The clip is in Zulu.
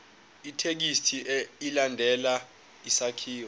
ithekisthi ilandele isakhiwo